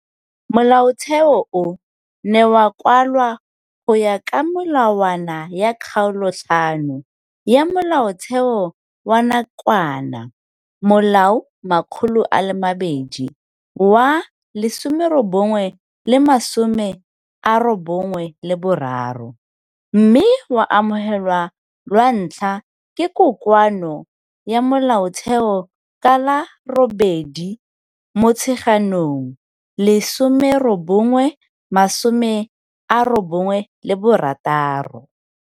Molaotheo o ne wa kwalwa go ya ka melawana ya Kgaolo 5 ya Molaotheo wa nakwana, Molao 200 wa 1993, mme wa amogelwa lwa ntlha ke Kokoano ya Molaotheo ka la 8 Motsheganong 1996.